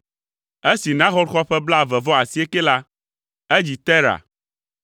Esi Nahor xɔ ƒe blaeve-vɔ-asiekɛ la, edzi Tera.